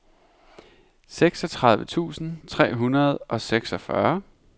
seksogtredive tusind tre hundrede og seksogfyrre